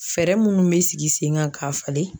Fɛɛrɛ minnu bɛ sigi sen kan k'a falen